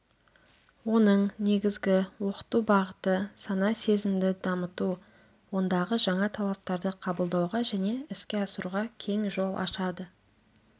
оның негізгі оқыту бағыты сана сезімді дамыту ондағы жаңа талаптарды қабылдауға және іске асыруға кең жол ашады